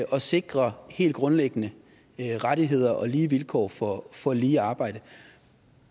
og sikre helt grundlæggende rettigheder og lige vilkår for for lige arbejde